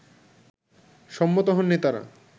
সম্মত হন নেতারা